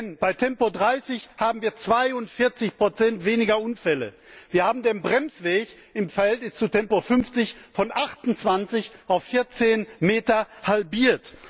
Denn bei Tempo30 haben wir 42 weniger Unfälle, wir haben den Bremsweg im Verhältnis zu Tempo50 von 28 auf 14Meter halbiert.